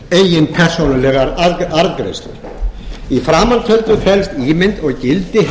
eigin persónulegar arðgreiðslur í framantöldu felst ímynd og gildi heitisins